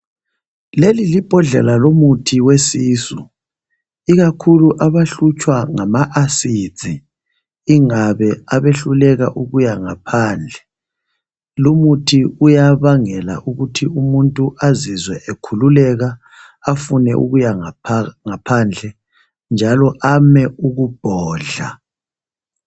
Leli libhodlela lomuthi wesisu ikakhulu abahlutshwa ngama acid ingabe abehluleka ukuya ngaphandle lumuthi uyabangela ukuthi umuntu azizwe ekhululeka afune ukuya ngaphandle njalo ame ukubhodla.